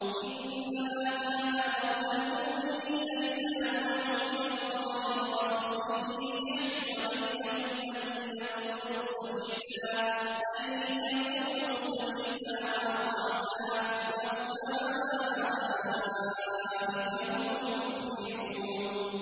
إِنَّمَا كَانَ قَوْلَ الْمُؤْمِنِينَ إِذَا دُعُوا إِلَى اللَّهِ وَرَسُولِهِ لِيَحْكُمَ بَيْنَهُمْ أَن يَقُولُوا سَمِعْنَا وَأَطَعْنَا ۚ وَأُولَٰئِكَ هُمُ الْمُفْلِحُونَ